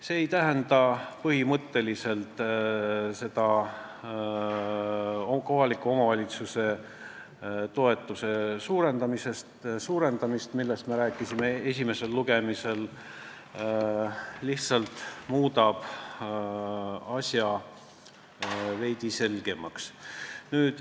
See ei tähenda põhimõtteliselt kohaliku omavalitsuse toetuse suurendamist, millest me rääkisime esimesel lugemisel, lihtsalt muudab asja veidi selgemaks.